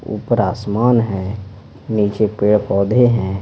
ऊपर आसमान है नीचे पेड़-पौधे हैं।